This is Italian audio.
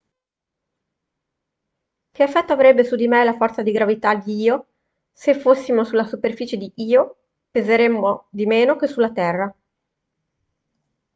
che effetto avrebbe su di me la forza di gravità di io se fossimo sulla superficie di io peseremmo di meno che sulla terra